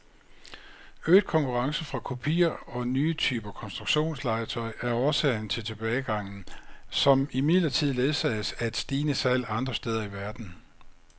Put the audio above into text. Øget konkurrence fra kopier og nye typer konstruktionslegetøj er årsag til tilbagegangen, som imidlertid ledsages af stigende salg andre steder i verden.